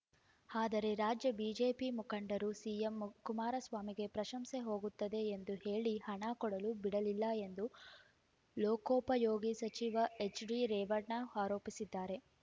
ಆದರೆ ರಾಜ್ಯ ಬಿಜೆಪಿ ಮುಖಂಡರು ಸಿಎಂ ಕುಮಾರಸ್ವಾಮಿಗೆ ಪ್ರಶಂಸೆ ಹೋಗುತ್ತದೆ ಎಂದು ಹೇಳಿ ಹಣ ಕೊಡಲು ಬಿಡಲಿಲ್ಲ ಎಂದು ಲೋಕೋಪಯೋಗಿ ಸಚಿವ ಎಚ್‌ಡಿರೇವಣ್ಣ ಆರೋಪಿಸಿದ್ದಾರೆ